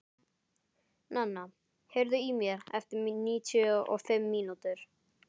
Nana, heyrðu í mér eftir níutíu og fimm mínútur.